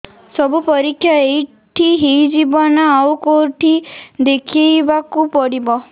ସବୁ ପରୀକ୍ଷା ଏଇଠି ହେଇଯିବ ନା ଆଉ କଉଠି ଦେଖେଇ ବାକୁ ପଡ଼ିବ